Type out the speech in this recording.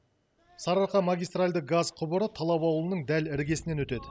сарыарқа магистральды газ құбыры талап ауылының дәл іргесінен өтеді